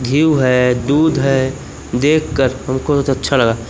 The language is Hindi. घीव है दूध है देखकर हमको बहोत अच्छा लगा--